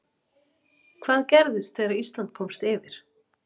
Hvað gerðist þegar Ísland komst yfir?